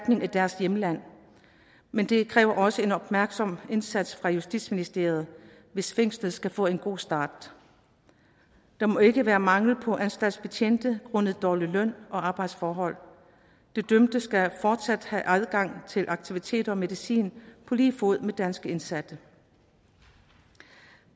i deres hjemland men det kræver også en opmærksom indsats fra justitsministeriet hvis fængslet skal få en god start der må ikke være mangel på anstaltsbetjente grundet dårlige løn og arbejdsforhold de dømte skal fortsat have adgang til aktiviteter og medicin på lige fod med danske indsatte